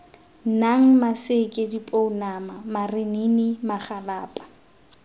nang maseke dipounama marinini magalapa